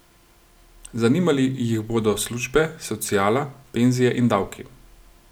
Zanimali jih bodo službe, sociala, penzije in davki.